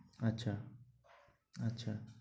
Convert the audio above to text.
আচ্ছা আচ্ছা।